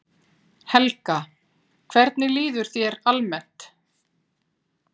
Helga: Hvernig líður þér svona almennt eftir þetta núna?